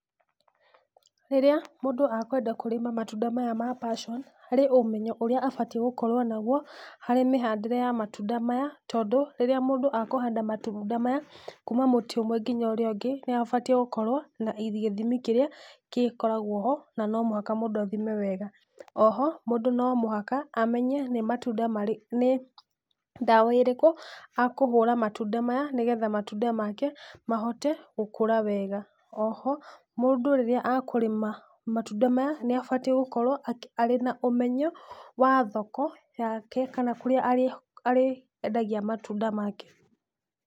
Rĩrĩa mũndũ akwenda kũrĩma matunda maya ma passion harĩ ũmenyo ũrĩa abatie gũkorwo naguo harĩ mĩhandĩre ya matunda maya tondũ rĩrĩa mũndũ akũhanda matunda maya kuma mũtĩ ũmwe nginya ũrĩa ũngĩ nĩ abatie gũkorwo na gĩthimi kĩrĩa gĩkoragwo ho na no mũhaka mũndũ athime wega. O ho mũndũ no mũhaka amenye nĩ matunda marĩ... nĩ dawa ĩrĩkũ akũhũra matunda maya nĩgetha matunda make mahote gũkũra wega, o ho mũndũ rĩrĩa akũrĩma matunda maya nĩ abatie gũkorwo arĩ na ũmenyo wa thoko yake kana kũrĩa arĩendagia matunda make.